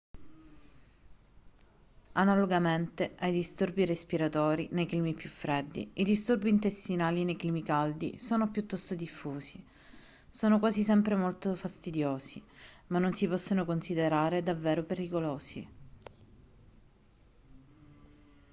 analogamente ai disturbi respiratori nei climi più freddi i disturbi intestinali nei climi caldi sono piuttosto diffusi sono quasi sempre molto fastidiosi ma non si possono considerare davvero pericolosi